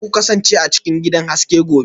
Za ku kasance a cikin gidan haske gobe